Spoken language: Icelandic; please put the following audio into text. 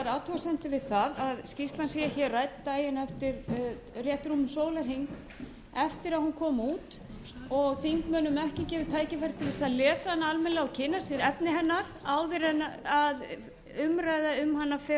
athugasemdir við það að skýrslan sé rædd daginn rétt rúmum sólarhring eftir að hún kom út og þingmönnum ekki gefið tækifæri til að lesa hana almennilega og kynna sér efni hennar áður en umræða um hana fer